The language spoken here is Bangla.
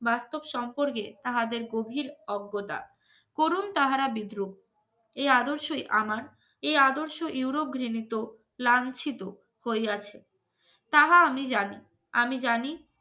বাস্তব সম্পর্কে তাহাদের গভীর অজ্ঞতা করুন তাহারা বিদ্রুপ এই আদর্শই আমার এই আদর্শ ইউরোপ ঘৃণিত লাঞ্ছিত হইয়াছে তাহা আমি জানি আমি জানি